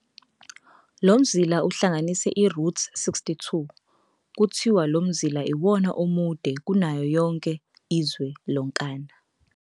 Lomzila uhlanganisa iRoute 62, kuthiwa lomzila iwona omude kanayo yonke izwe lonkana.